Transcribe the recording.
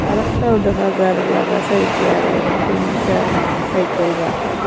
আরেকটাও দেখা যার লাগা সাইকেল তিনটা সাইকেল রাখা।